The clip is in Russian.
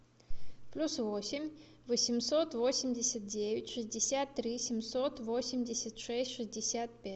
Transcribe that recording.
плюс восемь восемьсот восемьдесят девять шестьдесят три семьсот восемьдесят шесть шестьдесят пять